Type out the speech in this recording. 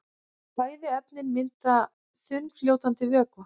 Bæði efnin mynda þunnfljótandi vökva.